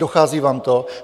Dochází vám to?